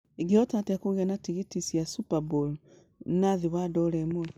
ingĩhota atĩa kũgĩa na tigiti cia Super Bowl na thĩ wa dola ĩmwe